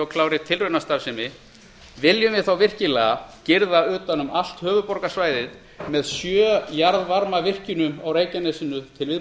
klárri tilraunastarfsemi viljum við þá virkilega girða utan um allt höfuðborgarsvæðið með sjö jarðvarmavirkjunum á reykjanesinu til